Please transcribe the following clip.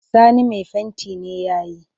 Sani mai fenti ne ya yi